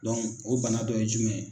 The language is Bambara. o bana dɔ ye jumɛn ye.